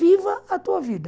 Viva a tua vida.